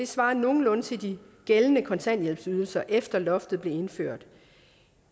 svarer nogenlunde til de gældende kontanthjælpsydelser efter at loftet blev indført